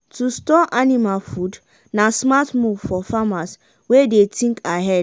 to store anima food na smart move for farmers wey dey think ahead.